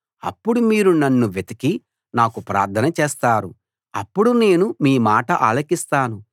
అప్పుడు మీరు నన్ను వెతికి నాకు ప్రార్థన చేస్తారు అప్పుడు నేను మీ మాట ఆలకిస్తాను